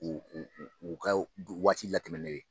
U u u u ka waati latɛmɛnen